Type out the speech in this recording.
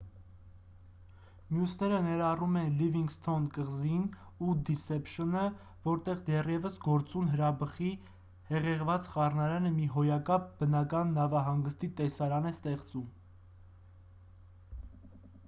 մյուսները ներառում են լիվինգսթոն կղզին ու դիսեփշնը որտեղ դեռևս գործուն հրաբխի հեղեղված խառնարանը մի հոյակապ բնական նավահանգստի տեսարան է ստեղծում